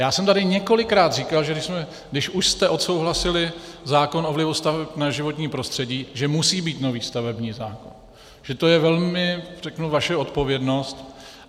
Já jsem tady několikrát říkal, že když už jste odsouhlasili zákon o vlivu staveb na životní prostředí, že musí být nový stavební zákon, že to je velmi, řeknu, vaše odpovědnost.